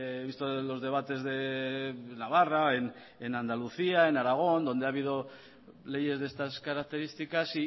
he visto los debates de navarra en andalucía en aragón donde ha habido leyes de estas características